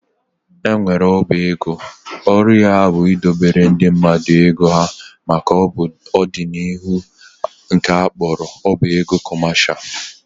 E nwekwara ọba ego ọrụ ya bụ idobere ndị mmadụ ego ha maka ọ dị n'ihu nke a kpọrọ ọba ego kọmesha